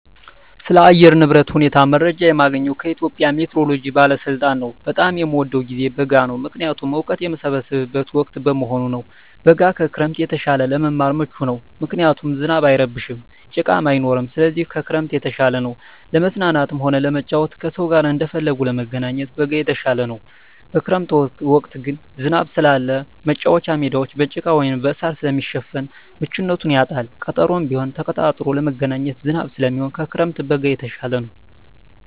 ስለ አየር ንብረት ሁኔታ መረጃ የማገኘዉ ከኢትዮጵያ ሜትሮሎጂ ባለስልጣን ነዉ። በጣም የምወደዉ ጊዜ በጋ ነዉ ምክንያቱም እወቀት የምሰበስብበት ወቅት በመሆኑ ነዉ። በጋ ከክረምት የተሻለ ለመማር ምቹ ነዉ ምክንያቱም ዝናብ አይረብሽም ጭቃም አይኖርም ስለዚህ ከክረምት የተሻለ ነዉ። ለመዝናናትም ሆነ ለመጫወት ከሰዉ ጋር እንደፈለጉ ለመገናኘት በጋ የተሻለ ነዉ። በክረምት ወቅት ግን ዝናብ ስላለ መቻወቻ ሜዳወች በጭቃ ወይም በእሳር ስለሚሸፈን ምቹነቱን ያጣል ቀጠሮም ቢሆን ተቀጣጥሮ ለመገናኘት ዝናብ ስለሚሆን ከክረምት በጋ የተሻለ ነዉ።